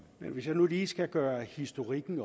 hvis jeg lige skal gøre historikken